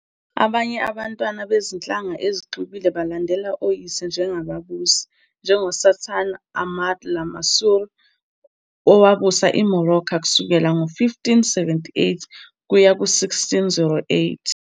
Abanye abantwana bezinhlanga ezixubile balandela oyise njengababusi, njengoSultan Ahmad al-Mansur, owabusa iMorocco kusukela ngo-1578 kuya ku-1608.